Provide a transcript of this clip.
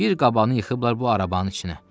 Bir qabanı yıxıblar bu arabanın içinə.